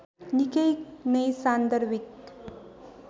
निकै नै सान्दर्भिक